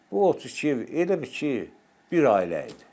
Bu 32 ev elə bil ki, bir ailə idi.